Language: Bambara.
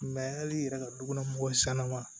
hali i yɛrɛ ka dukɔnɔmɔgɔw sanna ma